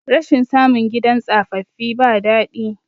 rashin samun gidan tsafaffi ba dadi